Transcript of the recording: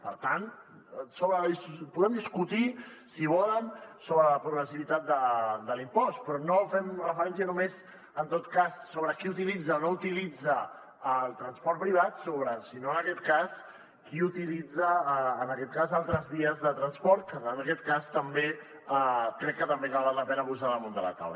per tant podem discutir si volen sobre la progressivitat de l’impost però no fem referència només en tot cas sobre qui utilitza o no utilitza el transport privat sinó en aquest cas qui utilitza altres vies de transport que crec que també val la pena posar ho damunt de la taula